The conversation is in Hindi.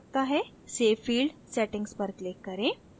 save field settings पर click करें